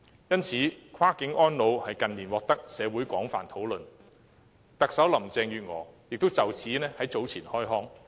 因此，跨境安老近年在社會獲廣泛討論，特首林鄭月娥亦就此在早前開腔。